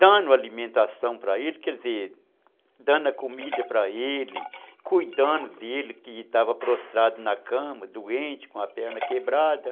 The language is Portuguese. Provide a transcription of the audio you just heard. dando alimentação para ele, quer dizer, dando a comida para ele, cuidando dele que estava prostrado na cama, doente, com a perna quebrada.